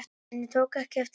En ég tók ekki eftir því.